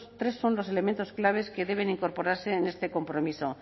tres son los elementos claves que deben incorporarse en este compromiso